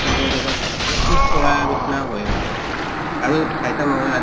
জগাত অলপ পিছ পৰা নিছিনা হৈ আছে আৰু চাইছা নহয়